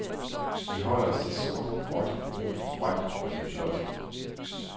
Vi holder os til sort, gråt, brunt, grønt og lidt blåt.